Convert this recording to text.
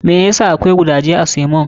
Me ya sa akwai gudaje a samon?